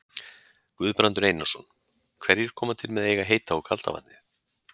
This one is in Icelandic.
Guðbrandur Einarsson: Hverjir koma til með að eiga heita og kalda vatnið?